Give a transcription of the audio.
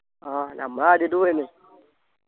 ആഹ് ഞമ്മളാദ്യയിട്ടു പോയല്ലേ